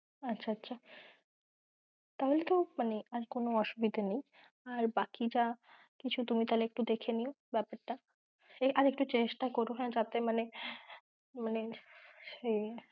আচ্ছা আচ্ছা! তাহলে তো র কোনোই অসুবিধা নেই, আর বাকি যা তুমি তাহলে কিছু দেখে নিও বেপারটা, আর একটু চেষ্টা করো হ্যাঁ যাতে মানে সেই